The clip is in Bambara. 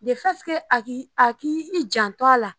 Defɛti ke a k'i a k'i jan to a la